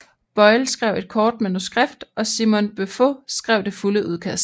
Boyle skrev et kort manuskript og Simon Beaufoy skrev det fulde udkast